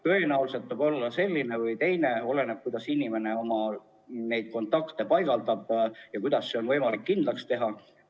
Tõenäoliselt ta võib olla selline või teistsugune, oleneb, kuidas inimene oma kontakte paigutab ja kuidas seda on võimalik kindlaks teha.